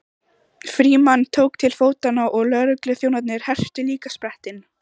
Frímann tók til fótanna og lögregluþjónarnir hertu líka sprettinn.